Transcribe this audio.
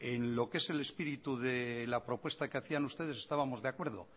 en lo que es espíritu de la propuesta que hacían ustedes estábamos de acuerdo